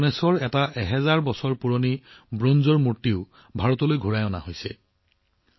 প্ৰায় হাজাৰ বছৰ পুৰণি ভগৱান গণেশৰ ব্ৰঞ্জৰ মূৰ্তিও ভাৰতলৈ ঘূৰাই অনা হৈছে